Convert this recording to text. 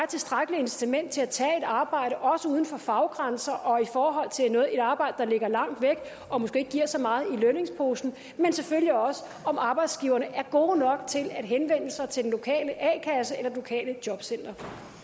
tilstrækkeligt incitament til at tage et arbejde også uden for faggrænser og i forhold til et arbejde der ligger langt væk og måske ikke giver så meget i lønningsposen men selvfølgelig også om arbejdsgiverne er gode nok til at henvende sig til den lokale a kasse eller det lokale jobcenter